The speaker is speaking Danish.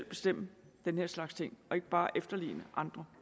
bestemme den her slags ting og ikke bare efterligne andre